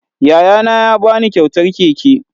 Yayana ya ba ni kyautar keke